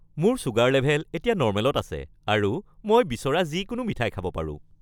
মোৰ sugar level এতিয়া নৰ্মেলত আছে আৰু মই বিচৰা যিকোনো মিঠাই খাব পাৰোঁ।